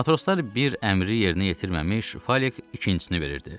Matroslar bir əmri yerinə yetirməmiş, Fəlek ikincisini verirdi.